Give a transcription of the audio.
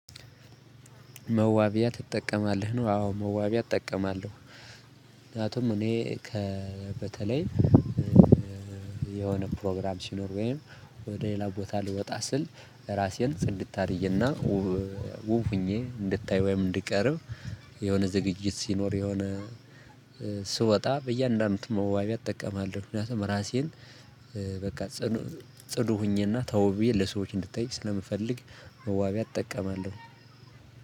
መዋቢያ ትጠቀማለህ ነው? አዎ መዋቢያ እጠቀማለሁ። ምክያቱም እኔ ከበተለይ የሆነ ፕሮግራም ሲኖር ወይም ወደ ሌላ ቦታ ልወጣ ስል ራሴን ጽድት አድርጌና እና ውብ ሆኜ እንድታይ ወይም እንድቀርብ የሆነ ዝግጅት ሲኖር የሆነ ስወጣ በእያንዳንዱ መዋቢያ እጠቀማለሁ። ምክንያቱም ራሴን በቃ ጽዱ ሆኜና ተውቤ ብዬ ለሰዎች እንድታይ ስለምፈልግ መዋቢያ እጠቀማለሁ።